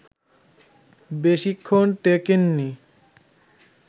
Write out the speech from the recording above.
বেশিক্ষণ টেকেননি